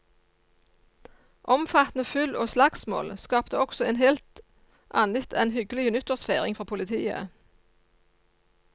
Omfattende fyll og slagsmål skapte også en alt annet enn hyggelig nyttårsfeiring for politiet.